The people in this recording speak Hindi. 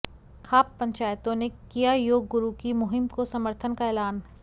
खाप पंचायतों ने किया योग गुरु की मुहिम को समर्थन का ऐलान